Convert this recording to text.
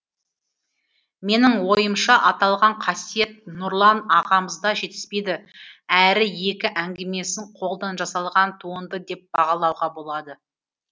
менің ойымша аталған қасиет нұрлан ағамызда жетіспейді әрі екі әңгімесін қолдан жасалған туынды деп бағалауға болады